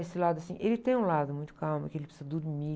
Esse lado assim, ele tem um lado muito calmo, que ele precisa dormir.